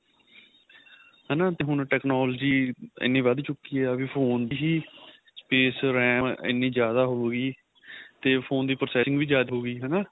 ਹੈਨਾ ਤੇ ਹੁਣ technology ਇੰਨੀ ਵੱਧ ਚੁਕੀ ਏ ਵੀ phone ਦੀ ਹੀ space RAM ਇੰਨੀ ਜਿਆਦਾ ਹੋ ਗਈ ਤੇ phone ਦੀ processing ਵੀ ਜਿਆਦਾ ਹੋ ਗਈ ਹਨਾ